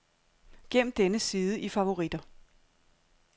Gem denne side i favoritter.